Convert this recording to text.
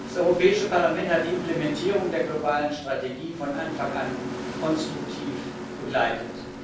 Das Europäische Parlament hat die Implementierung der globalen Strategie von Anfang an konstruktiv begleitet.